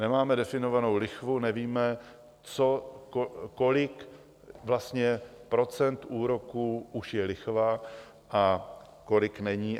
Nemáme definovanou lichvu, nevíme, kolik vlastně procent úroků už je lichva a kolik není.